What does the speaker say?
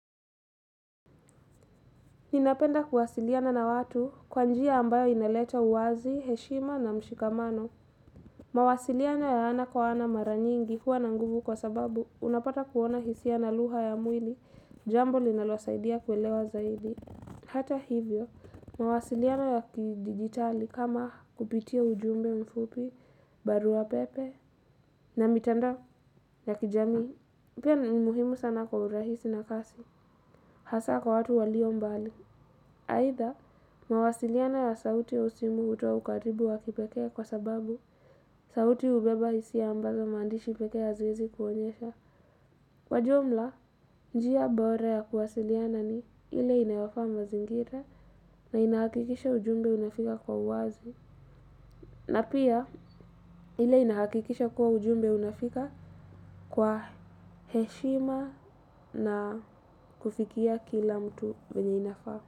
Ninapenda kuwasiliana na watu kwa njia ambayo inaleta uwazi, heshima na mshikamano. Mawasiliano ya ana kwa ana mara nyingi huwa na nguvu kwa sababu unapata kuona hisia na lugha ya mwili, jambo linalosaidia kuelewa zaidi. Hata hivyo, mawasiliano ya kidigitali kama kupitia ujumbe mfupi, barua pepe, na mitandao ya kijamii, pia ni muhimu sana kwa urahisi na kasi. Hasa kwa watu walio mbali. Aidha, mawasiliano ya sauti ya simu hutoa ukaribu wa kipekee kwa sababu sauti hubeba hisia ambazo maandishi pekee haziwezi kuonyesha. Kwa jumla, njia bora ya kuwasiliana ni ile inayofaa mazingira na inahakikisha ujumbe unafika kwa uwazi. Na pia, ile inahakikisha kuwa ujumbe unafika kwa heshima na kufikia kila mtu mwenye inafaa.